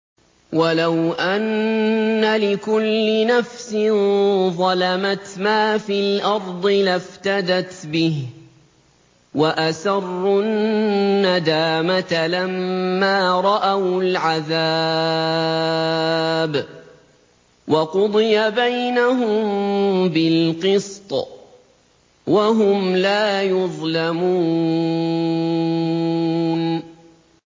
وَلَوْ أَنَّ لِكُلِّ نَفْسٍ ظَلَمَتْ مَا فِي الْأَرْضِ لَافْتَدَتْ بِهِ ۗ وَأَسَرُّوا النَّدَامَةَ لَمَّا رَأَوُا الْعَذَابَ ۖ وَقُضِيَ بَيْنَهُم بِالْقِسْطِ ۚ وَهُمْ لَا يُظْلَمُونَ